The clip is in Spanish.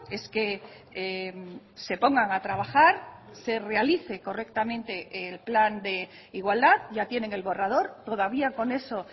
es que se pongan a trabajar se realice correctamente el plan de igualdad yatienen el borrador todavía con eso